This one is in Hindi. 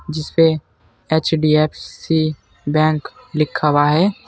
जिस पे एच_डी_एफ_सी बैंक लिखा हुआ है।